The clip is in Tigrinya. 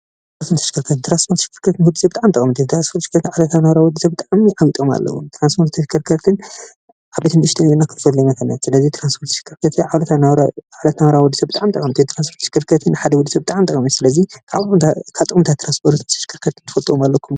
ትራንስፖርትን ተሽከርከርትን፦ ትራንስፖርትን ተሽከርከርትን ንወዲ ሰብ ብጣዕሚ ጠቐምቲ እዮም። ትራንስፖርትን ተሽከርከርትን ንወዲ ሰብ ብጣዕሚ ዓብይ ጥቕሚ ኣለዎም። ስለዚ ትራንስፖርትን ተሽከርከርትን ዓበይትን ንእሽተይን ክንፈልዮም ንኽእል ኢና ።ስለዚ ትራንስፖርትን ተሽከርከርትን ንናብራ ወዲ ሰብ ብጣዕሚ ጠቐምቲ እዮም። ስለዚ ካብ ጥቅምታት ትራንስፖርትን ተሽከርከርትን ትፈልዎም ኣለኩዶ?